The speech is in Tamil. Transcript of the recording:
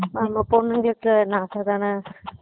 ஆமா பொண்ணுங்களுக்கு நகை தான